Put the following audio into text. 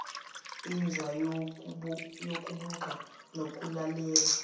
inzwa yokubuka nokulalela